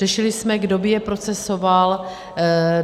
Řešili jsme, kdo by je procesoval.